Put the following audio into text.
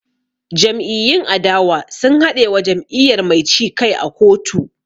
Jam'iyyun adawa sun haɗe wa jam'iyyar mai ci kai a kotu